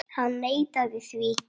Hann neitaði því.